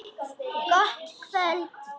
Gott kvöld.